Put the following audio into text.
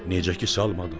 Necə ki salmadın?